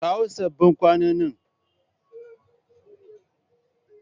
Kawo sabbin kwanonin!